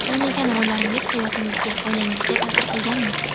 O‘ynagan rollaringiz hayotingizga, oilangizga ta’sir qilganmi?